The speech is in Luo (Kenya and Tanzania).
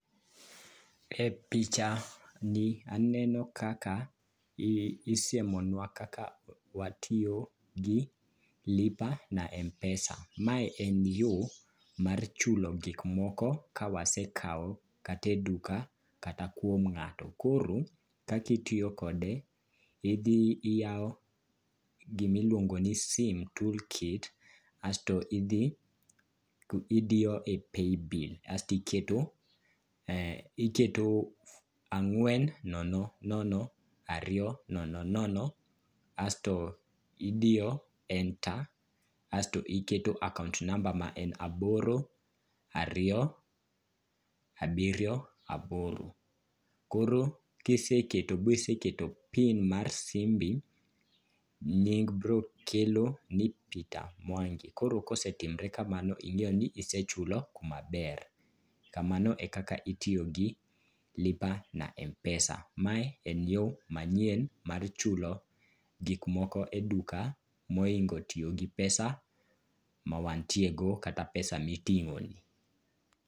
E pichani aneno kaka isiemonwa kaka watiyo gi lipa na m-pesa . Ma en yo mar chulo gikmoko kawasekawo kata e duka kata kuom ng'ato . Koro kaka itiyo kode, idhi iyawo gimiluongo ni sim toolkit asto idhi idiyo e paybill asto iketo ang'wen nono nono ariyo nono nono, asto idiyo enter asto iketo account number ma en aboro ariyo abiriyo aboro. Koro kiseketo biseketo pin mar simbi, nying brokelo ni Peter Mwangi. Koro kosetimre kamano, ing'eyo ni isechulo kmaber. Kamano e kaka itiyo gi lipa na mpesa. Mae en yo manyien mar chulo gik moko e duka mohingo tiyo gi pesa ma wantiego kata pesa miting'oni.